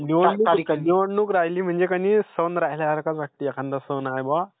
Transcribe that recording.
निवडणूक राहिली म्हणजे का नाही की सन राहिल्यासारखाच वाटते. एखानदा सन आहे बुवा,